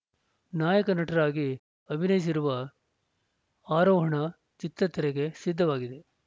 ನಾಯಕ ನಟರಾಗಿ ಅಭಿನಯಿಸಿರುವ ಆರೋಹಣ ಚಿತ್ರ ತೆರೆಗೆ ಸಿದ್ಧವಾಗಿದೆ